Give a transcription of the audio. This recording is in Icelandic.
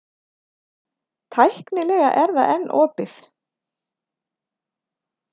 Tæknilega er það enn opið.